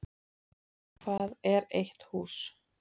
Hvað er eitt hús?